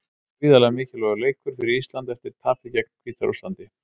Gríðarlega mikilvægur leikur fyrir Ísland eftir tapið gegn Hvíta-Rússlandi.